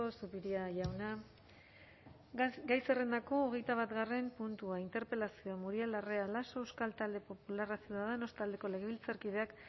zupiria jauna gai zerrendako hogeita batgarren puntua interpelazioa muriel larrea laso euskal talde popularra ciudadanos taldeko legebiltzarkideak